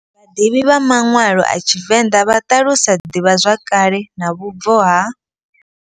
Vhadivhi vha manwalo a tshivenḓa vha talusa ḓivha zwakale na vhubvo ha.